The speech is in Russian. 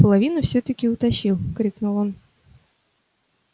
половину всё таки утащил крикнул он